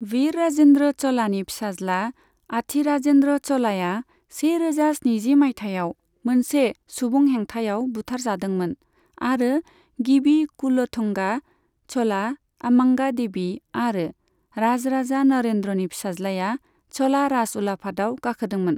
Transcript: वीर राजेन्द्र च'लानि फिसाज्ला आथीराजेन्द्र च'लाया सेरोजा स्निजि मायथाइयाव मोनसे सुबुं हेंथायाव बुथारजादोंमोन, आरो गिबि कुल'थुंगा च'ला, आम्मांगा देवी आरो राजराजा नरेन्द्रनि फिसाज्लाया, च'ला राजउलाफादाव गाखोदोंमोन।